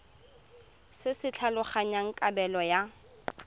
se se tlhalosang kabelo ya